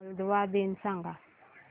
Moldova दिन सांगा